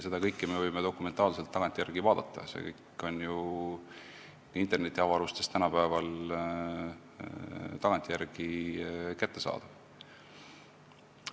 Seda kõike me võime dokumentaalselt tagantjärele vaadata, see on ju tänapäeval internetiavarustes kättesaadav.